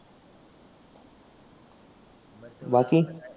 बाकी?